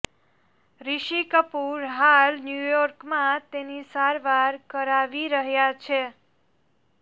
ઋષિ કપૂર હાલ ન્યુયોર્કમાં તેની સારવાર કરાવી રહ્યા છે